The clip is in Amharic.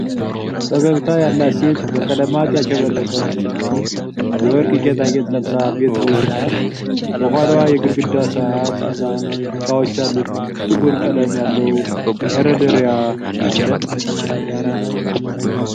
ፈገግታ ያላት ሴት በቀለማት ያሸበረቀ ልብስ እና የወርቅ ጌጣጌጥ ለብሳ ቤት ውስጥ ናት። ከኋላዋ የግድግዳ ሰዓት እና እቃዎች ያሉት ጥቁር ቀለም ያለው መደርደሪያ አለ።